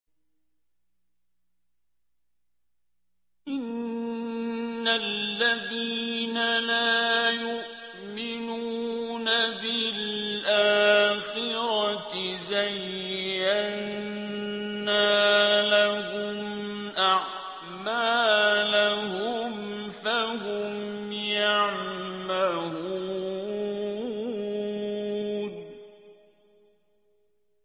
إِنَّ الَّذِينَ لَا يُؤْمِنُونَ بِالْآخِرَةِ زَيَّنَّا لَهُمْ أَعْمَالَهُمْ فَهُمْ يَعْمَهُونَ